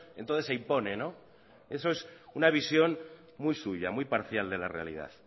entonces se impone eso es una visión muy suya muy parcial de la realidad